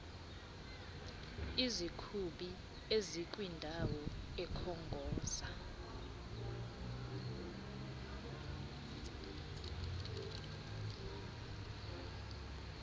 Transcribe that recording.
izikhuphi ezikwindawo ekhongoza